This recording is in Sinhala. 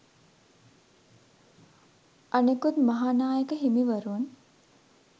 අනෙකුත් මහානායක හිමිවරුන්